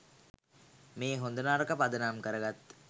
මේ හොඳ නරක පදනම් කරගත්